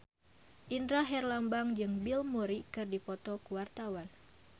Indra Herlambang jeung Bill Murray keur dipoto ku wartawan